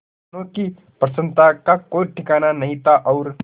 दोनों की प्रसन्नता का कोई ठिकाना नहीं था और